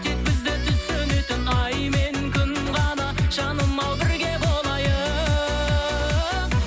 тек бізді түсінетін ай мен күн ғана жаным ау бірге болайық